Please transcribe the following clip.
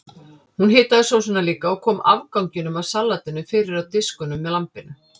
Hún hitaði sósuna líka og kom afganginum af salatinu fyrir á diskunum með lambinu.